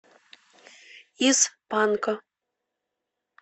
из панка